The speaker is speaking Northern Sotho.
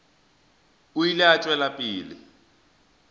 o ile a tšwela pele